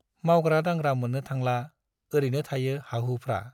मावग्रा दांग्रा मोन्नो थांला, औरैनो थायो हाहुफ्रा।